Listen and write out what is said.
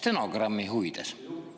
Stenogrammi huvides.